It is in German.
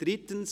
» Absatz 3: